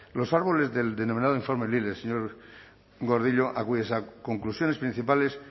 los árboles del denominado informe lile señor gordillo a cuyas conclusiones principales